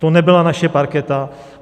To nebyla naše parketa.